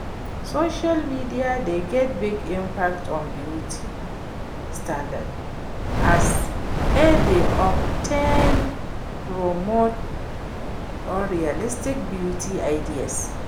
social media dey get big impact on beauty standards as e dey of ten promote unrealistic beauty ideas.